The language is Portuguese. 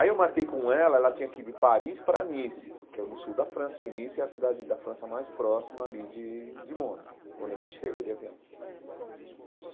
Aí eu marquei com ela, ela tinha que ir de Paris para Nice, que é no sul da França, que Nice é a cidade da França mais próxima ali de de Mônaco, quando a gente chega de avião.